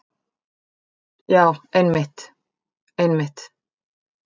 Já einmitt, einmitt.